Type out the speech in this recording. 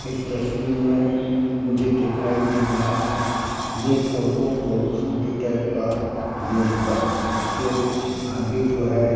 इस तस्वीर में मुझे दिखाई दे रहा है ये फोटो बहुत छोटी टाइप का दिया हुआ है इसके आगे जो है।